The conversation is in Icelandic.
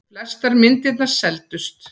Flestar myndirnar seldust.